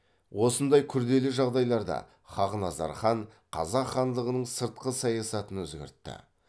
осындай күрделі жағдайларда хақназар хан қазақ хандығының сыртқы саясатын өзгертті